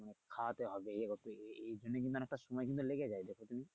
খাওয়াতে হবে এই হচ্ছে এই এই এখানে কিন্তু অনেকটা সময় কিন্তু লেগে যায় যাতে তুমি।